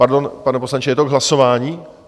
Pardon, pane poslanče, je to k hlasování?